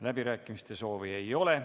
Läbirääkimiste soovi ei ole.